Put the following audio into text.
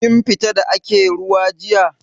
Kin fita da ake ruwa jiya?